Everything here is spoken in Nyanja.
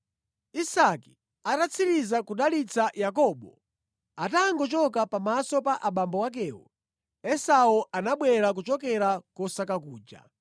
Isake atatsiriza kudalitsa Yakobo, atangochoka pamaso pa abambo akewo, Esau anabwera kuchokera kosaka kuja.